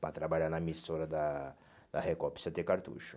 Para trabalhar na emissora da da Record precisa ter cartucho.